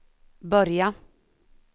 börja